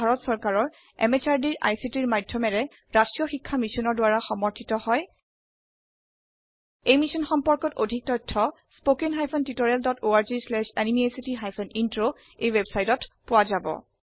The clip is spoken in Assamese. ই ভাৰত চৰকাৰৰ MHRDৰ ICTৰ মাধয়মেৰে ৰাস্ত্ৰীয় শিক্ষা মিছনৰ দ্ৱাৰা সমৰ্থিত হয় এই মিশ্যন সম্পৰ্কত অধিক তথ্য spoken hyphen tutorial dot org slash এনএমইআইচিত হাইফেন ইন্ট্ৰ ৱেবচাইটত পোৱা যাব